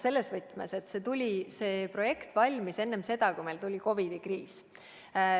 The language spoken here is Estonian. Seda sel põhjusel, et see projekt valmis enne seda, kui meil tuli COVID-i kriis.